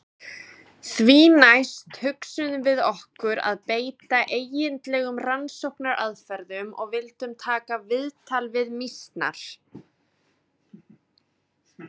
Því næst hugsuðum við okkur að beita eigindlegum rannsóknaraðferðum og vildum taka viðtal við mýsnar.